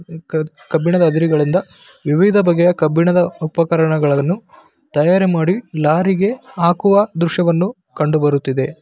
ಕಬ್ಬಿಣದ ಅದಿರುಗಳಿಂದ ವಿವಿಧ ಬಗೆಯ ಕಬ್ಬಿಣದ ಉಪಕರಣಗಳನ್ನು ತಯಾರಿ ಮಾಡಿ ಲಾರಿಗೆ ಹಾಕುವ ದೃಶ್ಯವನ್ನು ಕಂಡುಬರುತ್ತಿದೆ .